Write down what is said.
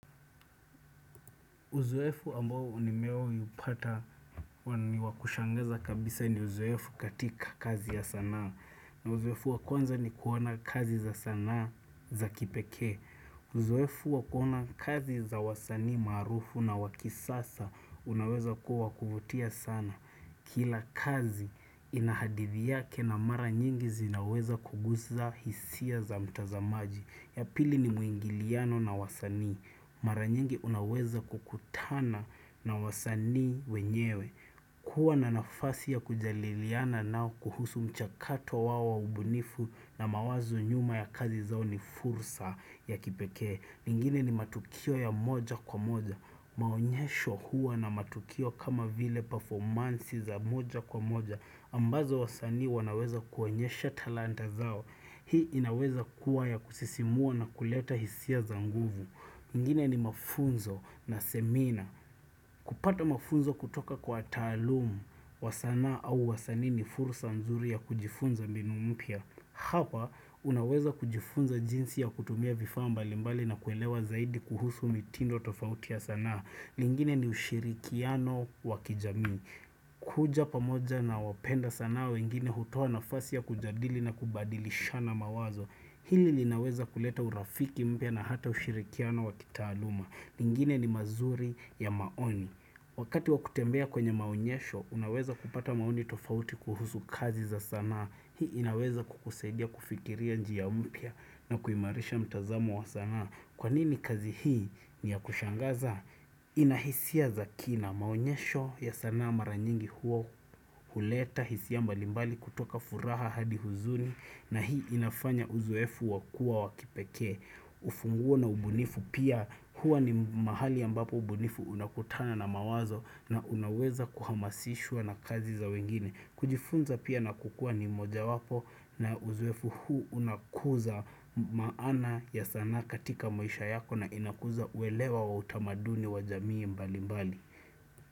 Uzoefu ambo nimeupata niwa kushangaza kabisa ni uzoefu katika kazi ya sanaa. Na uzoefu wa kwanza ni kuona kazi za sanaa za kipeke. Uzoefu wa kuona kazi za wasani marufu na wa kisasa unaweza kuwa kuvutia sana. Kila kazi inahadithi yake na mara nyingi zinaweza kugusa hisia za mtazamaji. Ya pili ni muingiliano na wasani. Mara nyingi unaweza kukutana na wasani wenyewe. Kuwa na nafasi ya kujaliliana nao kuhusu mchakato wao wa ubunifu na mawazo nyuma ya kazi zao ni fursa ya kipekee. Mengine ni matukio ya moja kwa moja. Maonyesho huwa na matukio kama vile pafomansi ya moja kwa moja. Ambazo wasani wanaweza kuonyesha talanta zao Hii inaweza kuwa ya kusisimua na kuleta hisia za nguvu mengine ni mafunzo na semina kupata mafunzo kutoka kwa taalum wa sana au wasani ni furusa nzuri ya kujifunza mbinu mpya Hapa unaweza kujifunza jinsi ya kutumia vifaa mbalimbali na kuelewa zaidi kuhusu mitindo tofautia ya sana mengine ni ushirikiano wa kijami kuja pamoja na wapenda sanaa wengine hutoa nafasi ya kujadili na kubadilishana mawazo Hili linaweza kuleta urafiki mpya na hata ushirikiano wa kitaaluma mengine ni mazuri ya maoni Wakati wa kutembea kwenye maonyesho, unaweza kupata maoni tofauti kuhusu kazi za sanaa Hii inaweza kukusadia kufikiria njia mpya na kuimarisha mtazamo wa sanaa Kwa nini kazi hii ni ya kushangaza? Inahisia za kina maonyesho ya sana mara nyingi huo huleta hisia mbalimbali kutoka furaha hadi huzuni na hii inafanya uzuefu wakua wakipeke Ufungua na ubunifu pia hua ni mahali ambapo ubunifu unakutana na mawazo na unaweza kuhamasishwa na kazi za wengine kujifunza pia na kukua ni moja wapo na uzoefu huu unakuza maana ya sana katika maisha yako na inakuza uelewa wa utamaduni wa jamii mbalimbali.